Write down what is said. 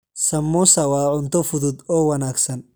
Samosa waa cunto fudud oo wanaagsan.